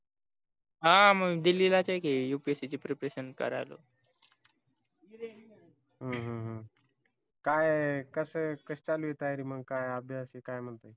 हा मग दिल्लीलाच आहे की upsc ची preparation करायला ह काय कस कशी चालू आहे तयारी मग काय अभ्यास हे काय म्हणतो